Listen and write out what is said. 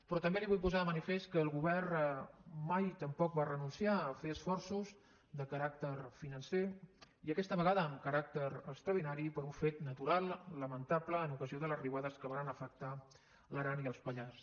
però també li vull posar de manifest que el govern mai tampoc va renunciar a fer esforços de caràcter financer i aquesta vegada amb caràcter extraordinari per un fet natural lamentable en ocasió de les riuades que varen afectar l’aran i els pallars